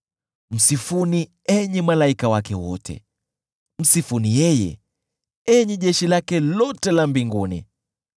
Msifuni, enyi malaika wake wote, msifuni yeye, enyi jeshi lake lote la mbinguni.